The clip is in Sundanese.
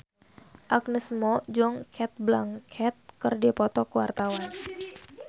Agnes Mo jeung Cate Blanchett keur dipoto ku wartawan